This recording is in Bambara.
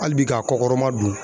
Hali bi k'a kɔkɔrɔmadon.